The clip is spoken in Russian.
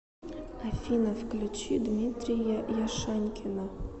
афина включи дмитрия яшанькина